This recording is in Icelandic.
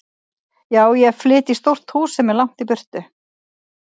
Já, ég flyt í stórt hús sem er langt í burtu.